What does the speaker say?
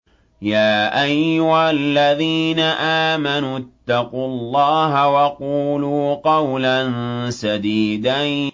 يَا أَيُّهَا الَّذِينَ آمَنُوا اتَّقُوا اللَّهَ وَقُولُوا قَوْلًا سَدِيدًا